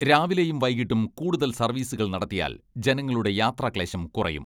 രാവിലെയും വൈകീട്ടും കൂടുതൽ സർവീസുകൾ നടത്തിയാൽ ജനങ്ങളുടെ യാത്രാക്ലേശം കുറയും.